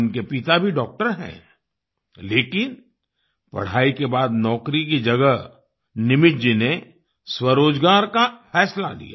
उनके पिता भी डॉक्टर हैं लेकिन पढाई के बाद नौकरी की जगह निमित जी ने स्वरोजगार का फैसला लिया